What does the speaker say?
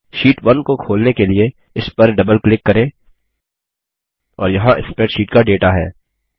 शीट1 को खोलने के लिए इस पर डबल क्लिक करें और यहाँ स्प्रैडशीट का डेटा है